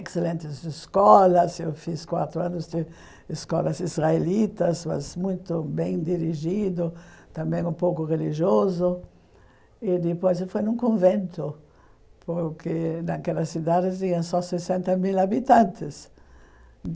excelentes escolas, eu fiz quatro anos de escolas israelitas, mas muito bem dirigido, também um pouco religioso, e depois eu fui num convento, porque naquelas cidades viviam só sessenta mil habitantes.